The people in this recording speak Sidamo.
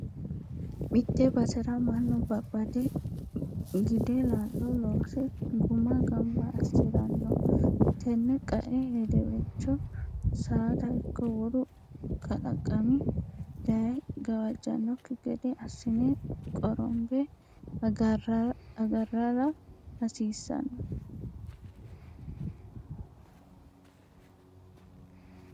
Mite basera mannu babbade gide laalo loose guma gamba assirano tene qae hedewelcho saada ikko wolu kalaqami daye gawajanokki gede assine qorombe agaralla hasiisano.